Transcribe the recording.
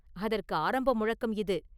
அதற்கு ஆரம்ப முழக்கம் இது!